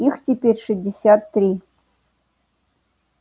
их теперь шестьдесят три